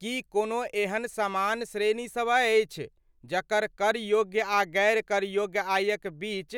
की कोनो एहन समान श्रेणीसब अछि जकर कर योग्य आ गैर कर योग्य आयक बीच